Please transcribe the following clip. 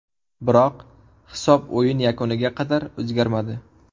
Biroq hisob o‘yin yakuniga qadar o‘zgarmadi.